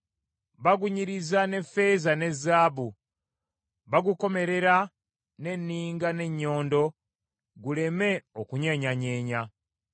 Bagunyiriza ne ffeeza ne zaabu, bagukomerera n’enninga n’ennyondo guleme okunyeenyanyeenya.